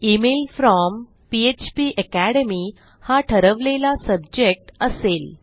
email from फ्पाकॅडमी हा ठरवलेला सब्जेक्ट असेल